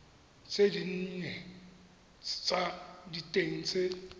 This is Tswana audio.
tse dinnye tsa diteng tse